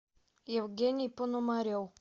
евгений пономарев